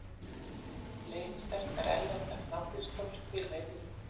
Fleiri sterkar erlendar landsliðskonur spila í deildinni.